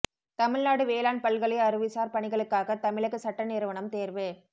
தமிழ்நாடு வேளாண் பல்கலை அறிவுசார் பணிகளுக்காக தமிழக சட்ட நிறுவனம் தேர்வு